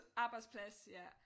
Arbejdsplads ja